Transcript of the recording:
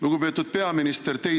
Lugupeetud peaminister!